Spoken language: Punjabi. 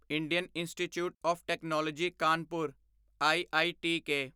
Indian Institute of Technology Kanpur IITK